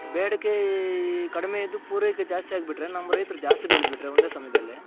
ಬೇಡಿಕೆ ಕಡಿಮೆ ಇದ್ದು ಪೂರೈಕೆ ಜಾಸ್ತಿ ಆಗ್ ಬಿಟ್ರೆ ನಮ್ ರೈತರು ಜಾಸ್ತಿ ಬೆಳೆದ ಬಿಟ್ರೆ ಒಂದೇ ಸಮಯದಲ್ಲಿ